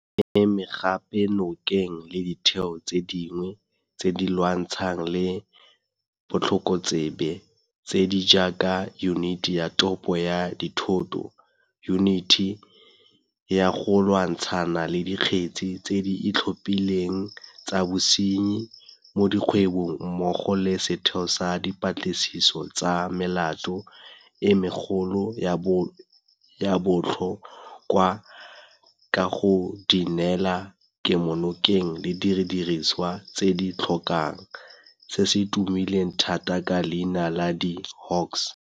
Re eme gape nokeng le ditheo tse dingwe tse di lwantshanang le botlhokotsebe tse di jaaka Yuniti ya Thopo ya Dithoto, Yuniti ya go Lwantshana le Dikgetse tse di Itlhophileng tsa Bosenyi mo Dikgwebong mmogo le Setheo sa Dipatlisiso tsa Melato e Megolo ya Botlho kwa ka go di neela kemonokeng le didirisiwa tse di di tlhokang, se se tumileng thata ka leina la di-Hawks.